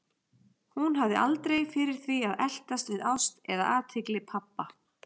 Hún hafði aldrei fyrir því að eltast við ást eða athygli pabba.